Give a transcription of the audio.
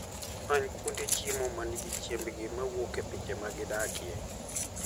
Many kuonde chiemo ma nigi chiembgi mowuok e pinje ma gidakie.